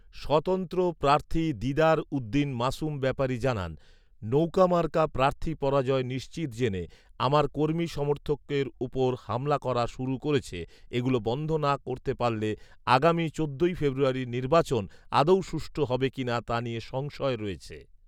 স্বতন্ত্র প্রার্থী দিদার উ‌দ্দিন মাসুম ব্যাপারী জানান, ‌নৌকা মার্কা প্রার্থী পরাজয় নি‌শ্চিত জে‌নে আমার কর্মী সমর্থকের উপর হামলা করা শুরু ক‌রে‌ছে এগু‌লো বন্ধ না কর‌তে পার‌লে আগামী চোদ্দই ফেব্রুয়ারীর নির্বাচন আ‌দৌও সুষ্ঠু হ‌বে কিনা তা নি‌য়ে সংশয় র‌য়ে‌ছে